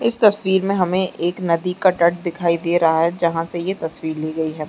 इस तस्वीर में हमे एक नदी का तट दिखाई दे रहा है जहां पे ये तस्वीर ली गई है।